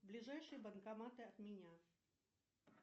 ближайшие банкоматы от меня